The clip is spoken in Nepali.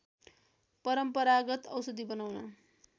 परम्परागत औषधि बनाउन